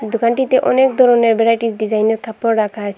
দোকানটিতে অনেক ধরনের ভ্যারাইটিস ডিজাইনের কাপড় রাখা আছে।